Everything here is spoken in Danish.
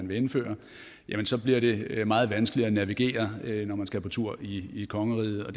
vil indføre så bliver det meget vanskeligt at navigere når man skal på tur i kongeriget og